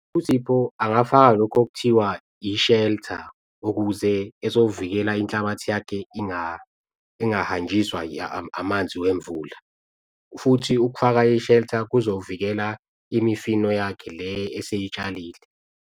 USipho angafaka lokhu okuthiwa i-shelter ukuze ezovikela inhlabathi yakhe ingahanjiswa amanzi wemvula futhi ukufaka i-shelter kuzovikela imifino yakhe le eseyitshalile.